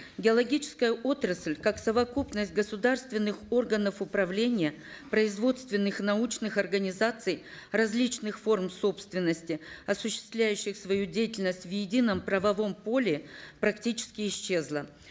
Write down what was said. геологическая отрасль как совокупность государственных органов управления производственных научных организаций различных форм собственности осуществляющая свою деятельность в едином правовом поле практически исчезла